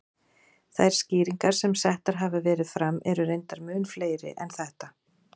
Þær skýringar sem settar hafa verið fram eru reyndar mun fleiri en þetta.